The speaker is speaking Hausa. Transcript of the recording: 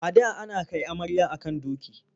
A da ana kai amarya a kan doki.